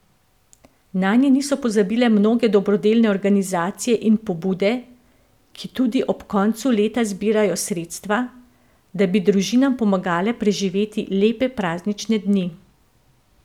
Nanje niso pozabile mnoge dobrodelne organizacije in pobude, ki tudi ob koncu leta zbirajo sredstva, da bi družinam pomagale preživeti lepe praznične dni.